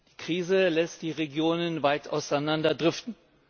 Die Krise lässt die Regionen weit auseinanderdriften.